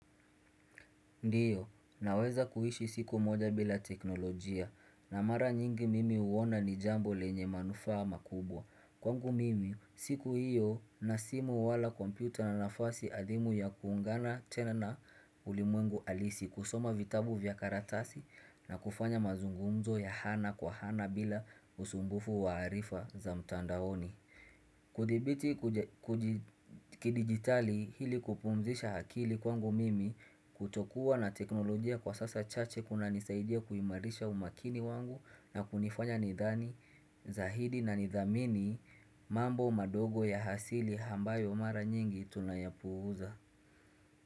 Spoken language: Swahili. Ndiyo, naweza kuhishi siku moja bila teknolojia, na mara nyingi mimi huona ni jambo lenye manufa makubwa. Kwangu mimi, siku hiyo na simu wala kompyuta na nafasi adhimu ya kuungana tena na ulimwengu alisi kusoma vitabu vya karatasi na kufanya mazungunzo ya hana kwa hana bila usumbufu wa harifa za mtandaoni. Kudhibiti kudigitali hili kupumzisha hakili kwangu mimi kutokuwa na teknolojia kwa sasa chache kunanisaidia kuimarisha umakini wangu na kunifanya nidhani, zahidi na nidhamini mambo madogo ya hasili hambayo mara nyingi tunayapuza.